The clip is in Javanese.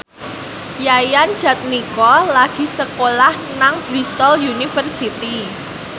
Yayan Jatnika lagi sekolah nang Bristol university